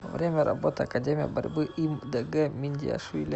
время работы академия борьбы им дг миндиашвили